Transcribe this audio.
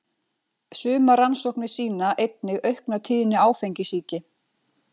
Sumar rannsóknir sýna einnig aukna tíðni áfengissýki.